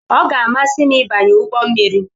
Ọ ga-amasị m ịbanye ụgbọ mmiri.